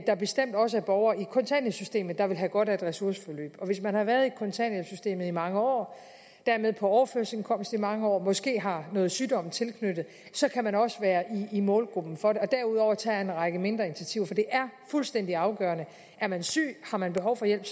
der bestemt også er borgere i kontanthjælpssystemet der ville have godt af et ressourceforløb hvis man har været i kontanthjælpssystemet i mange år og dermed på overførselsindkomst i mange år og måske har noget sygdom tilknyttet så kan man også være i målgruppen for det derudover tager jeg en række mindre initiativer for det er fuldstændig afgørende er man syg har man behov for hjælp